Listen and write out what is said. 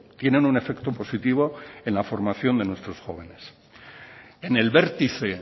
tienen un efecto positivo en la formación de nuestros jóvenes en el vértice